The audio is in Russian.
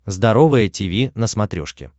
здоровое тиви на смотрешке